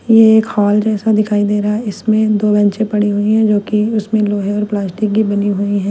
ये एक हॉल जैसा दिखाई दे रहा है इसमें दो बेंचें पड़ी हुई हैं जो कि उसमें लोहे और प्लास्टिक की बनी हुई हैं।